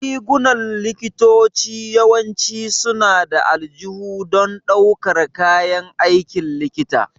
Rigunan likitoci yawanci suna da aljihu don ɗaukar kayan aikin likita.